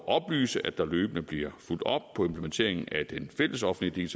oplyse at der løbende bliver fulgt op på implementeringen af den fællesoffentlige